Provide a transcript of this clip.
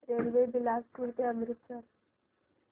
railway Bilaspur ते अमृतसर